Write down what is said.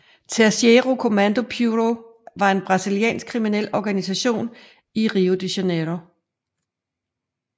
Terceiro Comando Puro er en brasiliansk kriminel organisation i Rio de Janiero